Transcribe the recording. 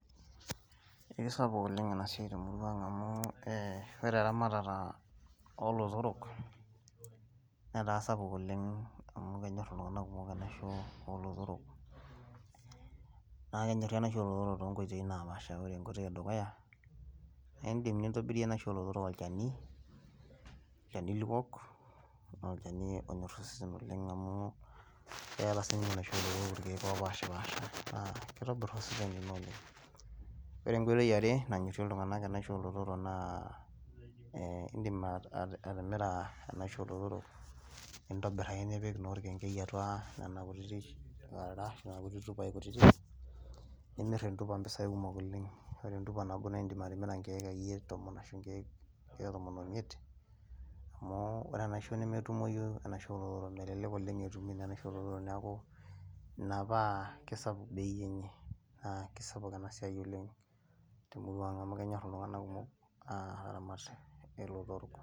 kisapuk ena siai oleng temurua anag amu ore eramatata oolotorok, netaa sapuk oleng. amu kenyor iltunganak kumok enaisho oolotorok. naa kenyori enaisho oolotorok too nkoitoi napaasha. ore enkoitoi edukuya naa idim nintobirie enaisho oolotorok olchani, olchani liok. olchani onyor osesen oleng amu, keeta siii ninye enaisho oolotorok irkeek oopashipaasha, naa kitobir osesen lino oleng. ore enkoitoi yiare nanyorie iltunganak enaisho oolotorok naa, ee idim atimira, enaisho oolotorok, nintobir ake nipik orkenkei atua nena kutitik karara nena kutiti tupai kutitik. nimir intupai impisai kumok oleng ore entupa nabo naa idim atimira akeyie nkeek tomon. ashu nkeek tomon oimiet. amu ore enaisho nemetumoyu, enashisho oolotorok, melelk akeyie etumoyu enaisho oolotorok, neeku ina paa kisapuk bei enye. kisapuk ena siai oleng. temurua ang amu kenyor iltunganak kumok.aa aramat ilotorok.